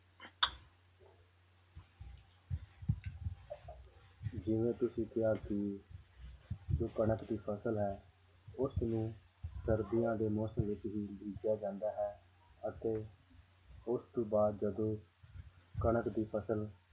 ਜਿਵੇਂ ਤੁਸੀਂ ਕਿਹਾ ਕਿ ਜੋ ਕਣਕ ਦੀ ਫ਼ਸਲ ਹੈ ਉਸ ਨੂੰ ਸਰਦੀਆਂ ਦੇ ਮੌਸਮ ਵਿੱਚ ਹੀ ਬੀਜਿਆ ਜਾਂਦਾ ਹੈ ਅਤੇ ਉਸ ਤੋਂ ਬਾਅਦ ਜਦੋਂ ਕਣਕ ਦੀ ਫ਼ਸਲ